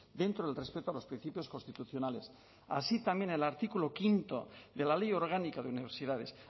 dentro del respeto a los principios constitucionales así también el artículo quinto de la ley orgánica de universidades